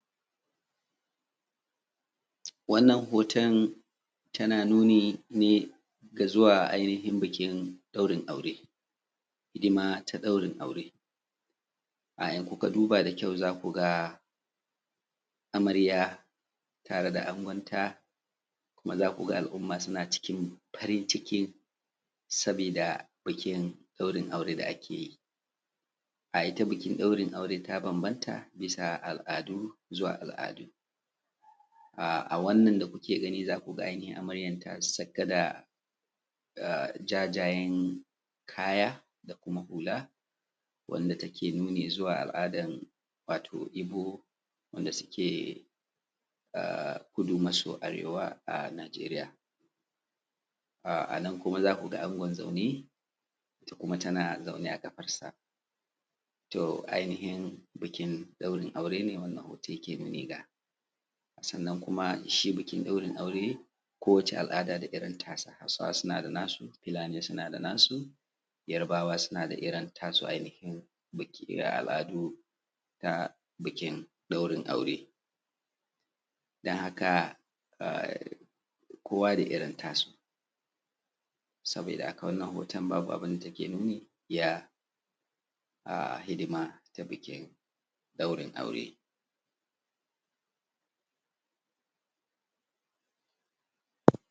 wannan hoton tana nuni ne da zuwa ainihin bikin ɗaurin aure hidima ta ɗaurin aure idan ku ka duba da kyau za ku ga amarya tare da angonta kuma za ku ga al’umma suna cikin farin ciki sabida bikin ɗaurin aure da ake yi ita bikin ɗaurin aure ta bambaƙnta bisa al’adu zuwa al’adu a wannan da kuke gani za ku ga ainihi ita amaryan ta saka jajayen kaya da kuma hula wanda yake nuni zuwa al’adan ibo wanda suke a kudu maso arewa a najeriya a nan kuma za ku ga angon zaune ita kuma tana zaune a ƙafarsa to ainihin bikin ɗaurin aure ne wanda hoton yake nuni ga sannan kuma shi bikin ɗaurin aure kowace al’ada da irin tasa hausawa suna da nasu fulani suna da tasu yarbawa suna da irin tasu ainihin biki na al’adu ta bikin ɗaurin aure don haka kowa da irin tasu sabida wannan hoton babu abin da take nuni ya a hidima ta bikin ɗaurin aure